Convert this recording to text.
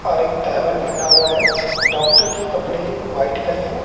और एक तैवेल पेहना हुआ है डॉक्टर के कपड़े व्हाइट करें हैं।